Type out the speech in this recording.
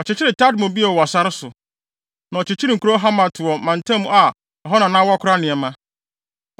Ɔkyekyeree Tadmor bio wɔ sare so, na ɔkyekyeree nkurow wɔ Hamat mantam mu a ɛhɔ na na wɔkora nneɛma.